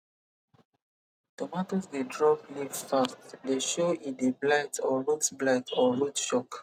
tomatoes dey drop leaf fast dey show e dey blight or root blight or root shock